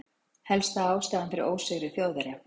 Helsta ástæðan fyrir ósigri Þjóðverja?